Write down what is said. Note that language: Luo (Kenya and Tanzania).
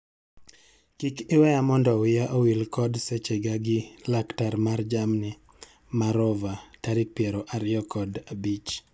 Kik iweya mondo wiya owil kod seche ga gi laktar mar jamni ma rover tarik piero ariyo kod abich.